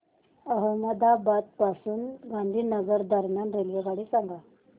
अहमदाबाद पासून गांधीनगर दरम्यान रेल्वेगाडी सांगा